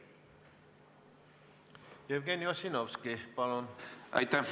Jevgeni Ossinovski, palun!